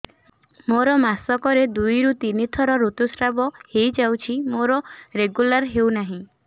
ମୋର ମାସ କ ରେ ଦୁଇ ରୁ ତିନି ଥର ଋତୁଶ୍ରାବ ହେଇଯାଉଛି ମୋର ରେଗୁଲାର ହେଉନାହିଁ